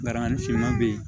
Baraman ni finman be yen